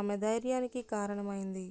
ఆమె ధైర్యానికి కారణమైంది